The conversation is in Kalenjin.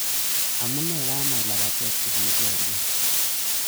Amune kamach lapatet kosir boriet